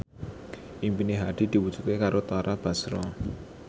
impine Hadi diwujudke karo Tara Basro